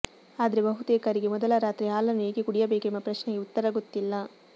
ಆದ್ರೆ ಬಹುತೇಕರಿಗೆ ಮೊದಲ ರಾತ್ರಿ ಹಾಲನ್ನು ಏಕೆ ಕುಡಿಯಬೇಕೆಂಬ ಪ್ರಶ್ನೆಗೆ ಉತ್ತರ ಗೊತ್ತಿಲ್ಲ